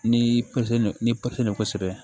Ni ni